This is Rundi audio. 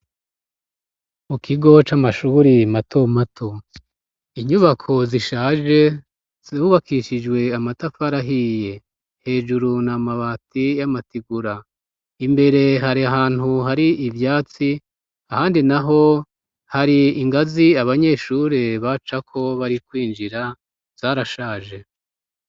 Mu kigo c'amashuri mato mato inyubako zishaje zubakishijwe amatafarahiye hejuru na mabati y'amatigura imbere hari ahantu hari ivyatsi ahandi naho hari ingazi abanyeshuri bacako bari kwinjira zarashaje.